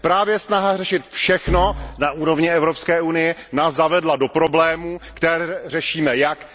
Právě snaha řešit všechno na úrovni Evropské unie nás zavedla do problémů, které řešíme jak?